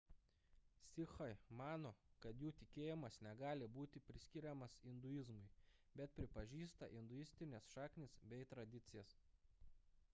sikhai mano kad jų tikėjimas negali būti priskiriamas induizmui bet pripažįsta induistines šaknis bei tradicijas